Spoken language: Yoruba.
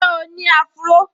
Ṣé o ní áfúró?